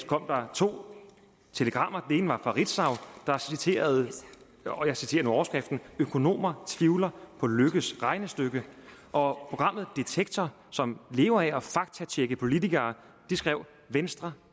kom der to telegrammer det ene var fra ritzau og jeg citerer overskriften økonomer tvivler på løkkes regnestykke og programmet detektor som lever af at faktatjekke politikere skrev at venstre